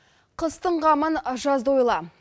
қыстың қамын жазда ойла